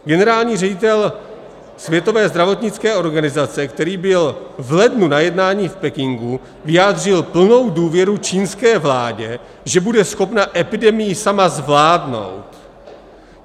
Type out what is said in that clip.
Generální ředitel Světové zdravotnické organizace, který byl v lednu na jednání v Pekingu, vyjádřil plnou důvěru čínské vládě, že bude schopna epidemii sama zvládnout.